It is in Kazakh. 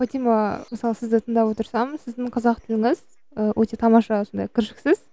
фатима мысалы сізді тыңдап отырсам сіздің қазақ тіліңіз ы өте тамаша сондай кіршіксіз